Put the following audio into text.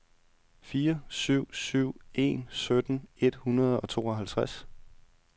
fire syv syv en sytten et hundrede og tooghalvtreds